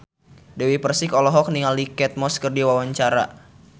Dewi Persik olohok ningali Kate Moss keur diwawancara